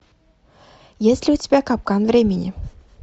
есть ли у тебя капкан времени